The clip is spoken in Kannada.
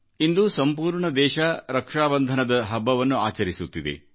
ಇಂದು ಸಂಪೂರ್ಣ ದೇಶ ರಕ್ಷಾಬಂಧನದ ಹಬ್ಬವನ್ನು ಆಚರಿಸುತ್ತಿದೆ